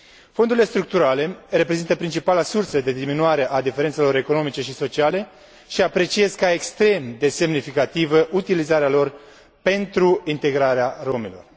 Fondurile structurale reprezintă principala sursă de diminuare a diferențelor economice și sociale și apreciez ca extrem de semnificativă utilizarea lor pentru integrarea romilor.